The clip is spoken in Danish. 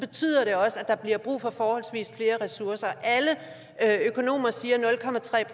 betyder det også at der bliver brug for forholdsvis flere ressourcer alle økonomer siger